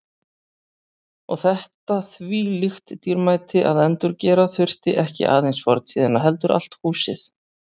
Og þetta þvílíkt dýrmæti að endurgera þurfti ekki aðeins fortíðina heldur allt húsið.